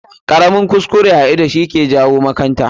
Ƙaramin kuskure a ido shi ke jawo makanta.